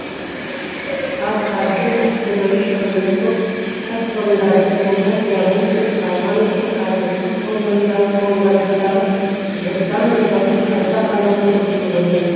ал қаржы министрлігі шығыны көп кәсіпорындарды жылдам жабу үшін парламентке қазіргі қолданыстағы заң жобасын қайта қарауды ұсынып отыр